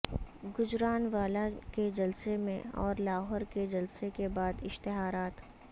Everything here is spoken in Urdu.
گجرانوالہ کے جلسے اور لاہور کے جلسے کے بعد اشتہارات